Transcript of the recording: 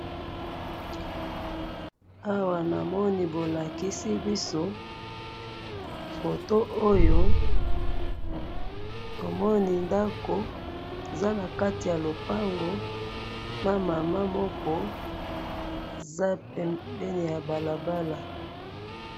awa na moni bolakisi biso photo oyo tomoni ndaku eza na kati ya lopango na mama moko eza pembeni ya balabala